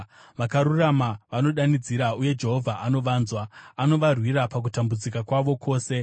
Vakarurama vanodanidzira, uye Jehovha anovanzwa; anovarwira pakutambudzika kwavo kwose.